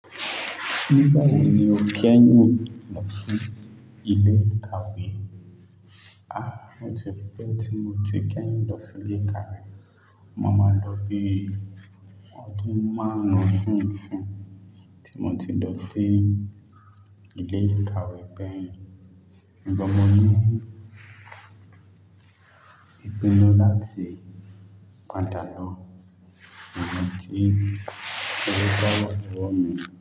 Nígbà wò ni o kẹ́yìn lọ sí ilé ìkàwè? A, ó ti pẹ́ tí mo ti kẹ́yin lọ sí ilé ìkàwè. O ma má ń lọ bí i ọdún márún sìnsìn tí mo ti lọ sí ilé ìkàwè kẹ́yìn. Ǹbọ̀ mo ní mopinnu láti padà lọ iyen tí owọ́ bawa lowọ́ mi.